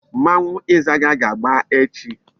Mmanwu Izaga ga-agba echi